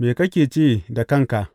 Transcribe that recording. Me kake ce da kanka?